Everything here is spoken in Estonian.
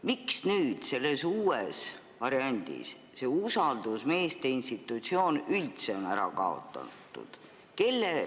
Miks selles uues variandis on see usaldusmeeste institutsioon üldse ära kaotatud?